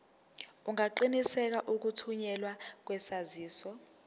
ungaqinisekisa ukuthunyelwa kwesaziso